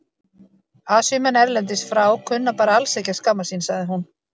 Asíumenn erlendis frá kunna bara alls ekki að skammast sín, sagði hún.